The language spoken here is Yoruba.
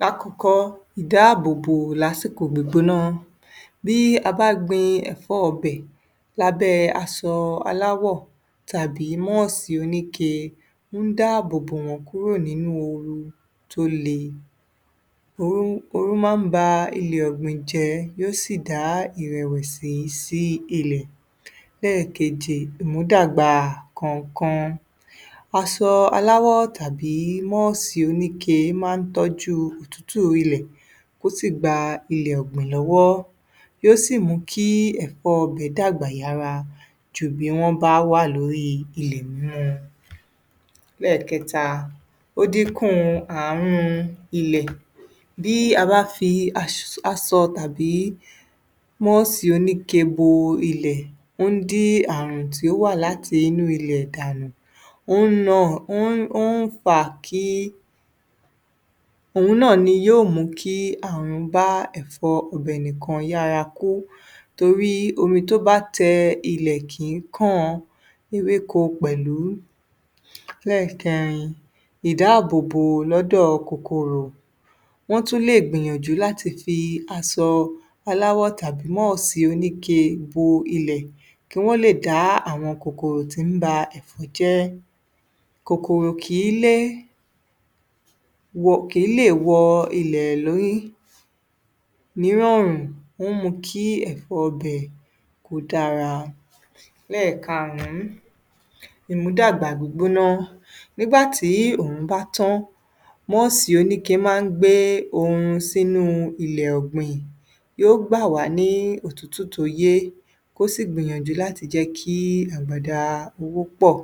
Lákọ̀ọ́kọ́, ìdáàbò bò lásikò gbígbóná. Bí a bá gbin ẹ̀fọ́ ọbẹ̀, lábẹ́ aṣọ aláwọ̀ tàbí mọ́ọ̀sì oníke ń dáàbò bò wọ́n kúrò nínú ooru tó le. Ooru máa ń ba ilẹ̀ ọ̀gbìn jẹ́ yó sì dá ìrẹ̀wẹ̀sì sí ilẹ̀. Lẹ́ẹ̀keje, ìmùdàgbà kọ̀nkan. Asọ aláwọ̀ tàbí mọ́ọ̀sì oníke máa ń tọ́jú òtútù ilẹ̀ ó sì gba ilẹ̀ ọ̀gbìn lọ́wọ́, yó sì mú kí ẹ̀fọ́ bẹ̀ dàgbà yára jù bí wọ́n bá wà ilẹ̀ mímu. Lẹ́ẹ̀kẹta, ó dínkù ààrùn ilẹ̀. Bí a bá fi aṣ, asọ tàbí mọ́ọ̀sì oníke bo ilẹ̀, ó ń dín ààrùn tí ó wà láti inú ilẹ̀ dànù. Ó ń nà, ó ń, ó ń fà kí, òhun náà ni yóò mú kí ààrùn bá ẹ̀fọ́ ọbẹ̀ nìkan yára kú torí omi tó bá tẹ ilẹ̀ kìí kan ewéko pẹ̀lú. Lẹ́ẹ̀kẹrin, ìdáàbò bò lọ́dọ̀ kòkòrò. Wọ́n tún lè gbìyànjú láti fi asọ aláwọ̀ tàbí mọ́ọ̀sì oníke bo ilẹ̀, kí wọ́n lè dá àwọn kòkòrò tí ń ba ẹ̀fọ́ jẹ́. Kòkòrò kìí lé, kìí lè wọ ilẹ̀ lórí nírọ̀rùn, ó ń mú kí ẹ̀fọ́ ibẹ̀ kó dára. Lẹ́ẹ̀karùn-ún, ìmúdàgbà gbígbóná. Nígbà tí òòrùn bá tán, mọ́ọ̀sì oníke máa ń gbé oorun sínú ilẹ̀ ọ̀gbìn. Yó gbà wá ní òtútù tó yé, kó sì gbìyànjú láti jẹ́ kí àgbàdà owó pọ̀.